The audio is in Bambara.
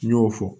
N y'o fɔ